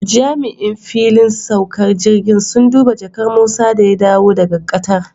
Jami'an fillin saukar jirgin sun duba jakar Musa da ya dawo daga Qatar